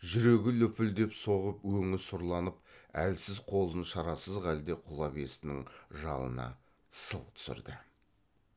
жүрегі лүпілдеп соғып өңі сұрланып әлсіз қолын шарасыз халде құла бестінің жалына сылқ түсірді